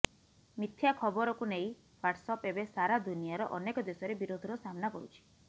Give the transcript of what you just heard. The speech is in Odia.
ମିଥ୍ୟା ଖବରକୁ ନେଇ ହ୍ବାଟସ୍ଆପ୍ ଏବେ ସାରା ଦୁନିଆର ଅନେକ ଦେଶରେ ବିରୋଧର ସାମ୍ନା କରୁଛି